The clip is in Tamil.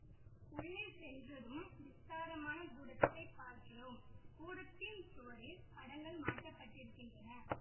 உள்ளே சென்றதும் விஸ்தாரமான கூடத்தைப் பார்க்கிறோம் கூடத்தின் சுவரில் படங்கள் மாட்டப் பட்டிருக்கின்றன